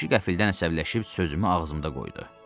Kişi qəfildən əsəbləşib sözümü ağzımda qoydu.